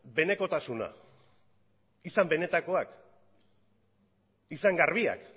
benekotasuna izan benetakoak izan garbiak